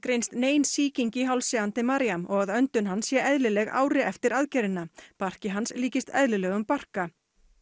nein sýking í hálsi Andemariam og að öndun hans sé eðlileg ári eftir aðgerðina barki hans líkist eðlilegum barka